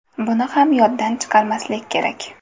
Buni ham yoddan chiqarmaslik kerak.